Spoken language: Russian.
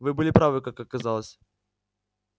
вы были правы как оказалось